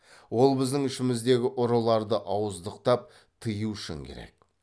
ол біздің ішіміздегі ұрыларды ауыздықтап тыю үшін керек